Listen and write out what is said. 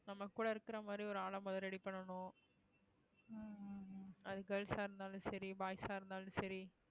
நம்ம கூட இருக்கிற மாறி ஒரு ஆள மொத ready பண்ணணும் அது girls ஆ இருந்தாலும் சரி boys ஆ இருந்தாலும் சரி